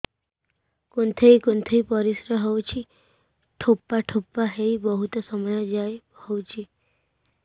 କୁନ୍ଥେଇ କୁନ୍ଥେଇ ପରିଶ୍ରା ହଉଛି ଠୋପା ଠୋପା ହେଇ ବହୁତ ସମୟ ଯାଏ ହଉଛି